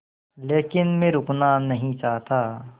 लेकिन मैं रुकना नहीं चाहता